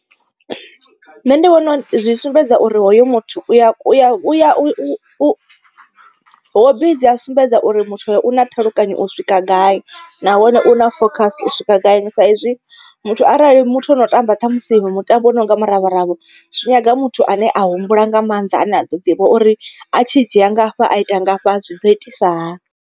Nṋe ndi vhona zwi sumbedza uri hoyo muthu u ya u ya u ya u hobi dzi a sumbedza uri muthu hoyo u na ṱhalukanyo u swika gai. Nahone u na focus u swika gai sa izwi muthu arali muthu ono tamba ṱhamusi mutambo ononga muravharavha. Zwi nyaga muthu ane a humbula nga maanḓa ane a ḓo ḓivha uri a tshi dzhia ngafha a ita ngafha zwi ḓo itisa hani.